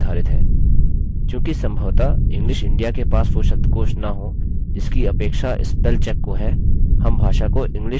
चूँकि सम्भवतः english india के पास वो शब्दकोष न हो जिसकी अपेक्षा spell check को है हम भाषा को english usa में बदल देंगे